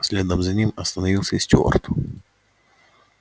следом за ним остановился и стюарт